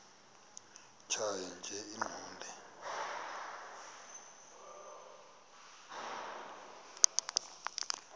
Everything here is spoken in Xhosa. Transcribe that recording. tjhaya nje iqondee